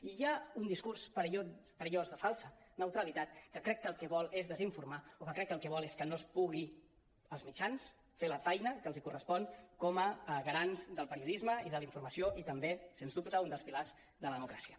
i hi ha un discurs perillós de falsa neutralitat que crec que el que vol és desinformar o que crec que el que vol és que no puguin els mitjans fer la feina que els correspon com a garants del periodisme i de la informa·ció i també sens dubte un dels pilars de la democràcia